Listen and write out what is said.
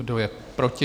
Kdo je proti?